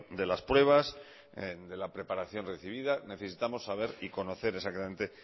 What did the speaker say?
de las pruebas de la preparación recibida necesitamos saber y conocer exactamente